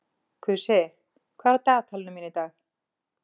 Kusi, hvað er á dagatalinu mínu í dag?